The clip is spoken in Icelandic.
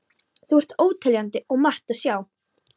Þau eru óteljandi og margt að sjá.